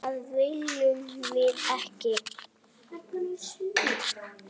Það viljum við ekki.